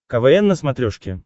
квн на смотрешке